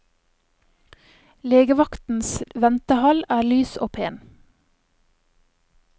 Legevaktens ventehall er lys og pen.